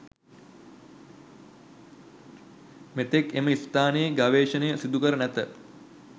මෙතෙක් එම ස්ථානයේ ගවේෂණ සිදුකැර නැත.